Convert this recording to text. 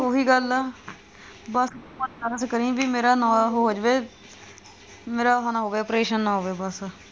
ਉਹ ਵੀ ਗਲ ਆ ਬਸ ਤੂੰ ਮੱਦਦ ਕਰੀ ਬਈ ਮੇਰਾ normal ਹੋ ਜਾਵੇ ਮੇਰਾ ਉਹ ਨਾ ਹੋਵੇ operation ਨਾ ਹੋਵੇ ਬਸ